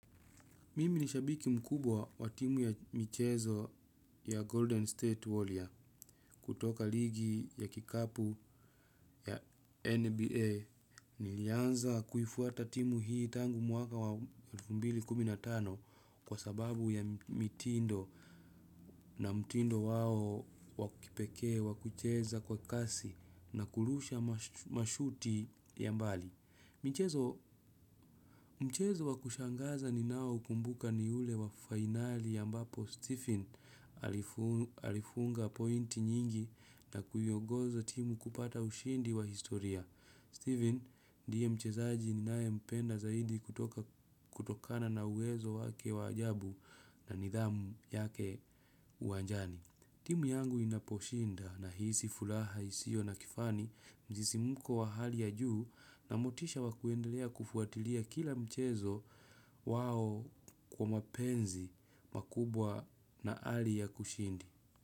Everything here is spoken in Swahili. Mimi ni shabiki mkubwa wa timu ya michezo ya Golden State Warrior kutoka ligi ya kikapu ya NBA. Nilianza kuifuata timu hii tangu mwaka wa elfu mbili na kumi na tano kwa sababu ya mitindo na mtindo wao wakipekee, wakucheza kwa kasi na kulusha mashuti ya mbali. Mchezo wa kushangaza ni nao kumbuka ni ule wa finali ambapo Stephen alifunga pointi nyingi na kuiongoza timu kupata ushindi wa historia. Stephen, ndiye mchezaji ni nae mpenda zaidi kutokana na uwezo wake waajabu na nidhamu yake uwajani. Timu yangu inaposhinda na hisi fulaha isio na kifani mzisi mko wa hali ya juu na motisha wakuendelea kufuatilia kila mchezo wao kwa mapenzi makubwa na ali ya kushindi.